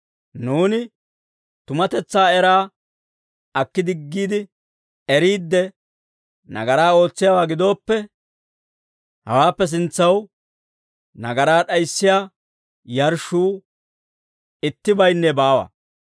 Nuuni tumatetsaa era akki diggiide, eriidde nagaraa ootsiyaawaa gidooppe, hawaappe sintsaw nagaraa d'ayissiyaa yarshshuu ittibaynne baawa.